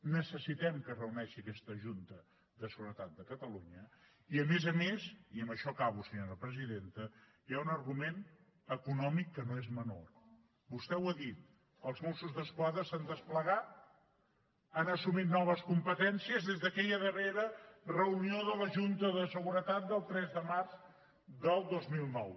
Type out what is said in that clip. necessitem que es reuneixi aquesta junta de seguretat de catalunya i a més a més i amb això acabo senyora presidenta hi ha un argument econòmic que no és menor vostè ho ha dit els mossos d’esquadra s’han desplegat han assumit noves competències des d’aquella darrera reunió de la junta de seguretat del tres de març del dos mil nou